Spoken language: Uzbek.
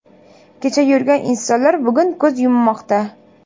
Kecha yurgan insonlar bugun ko‘z yummoqda.